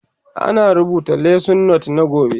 Ina rubuta lesson note na gobe